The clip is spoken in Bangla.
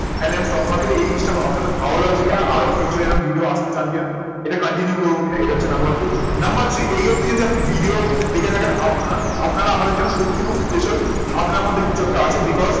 তাহলে আমি stock market এই জিনিসটা আপনাদের ভালো লাগছে কি না, আরো future এরকম ভিডিও আনতে চান কিনা, এটা continue করবো কিনা, এটা হচ্ছে number two number three এই অবধি যদি আপনি ভিডিও দেখে থাকেন আপনার আপনারা আমার জন্য সত্যি আমার কাছে খুব special আপনি আমাদেরকে যত তাড়াতাড়ি